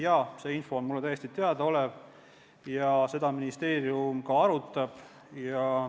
Jaa, see info on mulle täiesti teada ja seda teemat ministeerium ka arutab.